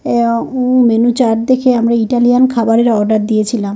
আ উ menu chart দেখে আমরা ইটালিয়ান খাবারের অর্ডার দিয়েছিলাম।